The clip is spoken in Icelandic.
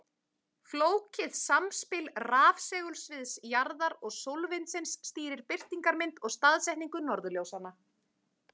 Flókið samspil rafsegulsviðs jarðar og sólvindsins stýrir birtingarmynd og staðsetningu norðurljósanna.